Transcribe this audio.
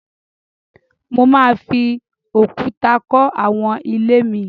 Mo máa fi òkúta kọ́ àwọn ilé mi